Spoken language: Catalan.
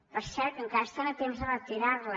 per cert que encara estan a temps de retirar la